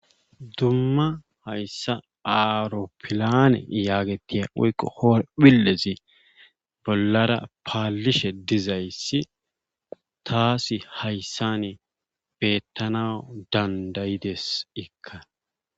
Dumma hayssa aaropillane yaagettiya woykko horphillezi bollara paalishe dizayssi taasi hayssani beettanaw danddayide ikka.